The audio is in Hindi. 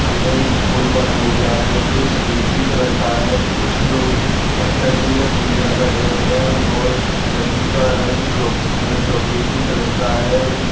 सामने एक पुल बना हुआ है जो सिलेटी कलर का है कुछ लोग नदी में पूजा कर रहे हैं और नदी का रंग चौक चॉकलेटी कलर का है।